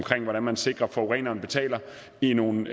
hvordan man sikrer at forureneren betaler i nogle